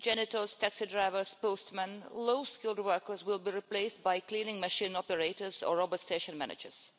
Janitors, taxi drivers, postmen and low-skilled workers will be replaced by cleaning machine operators or robot station managers.